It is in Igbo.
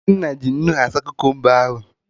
Nnenna ji nnu saa Kukumba ahụ